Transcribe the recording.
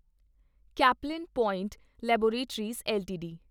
Caplin Point Laboratories LTD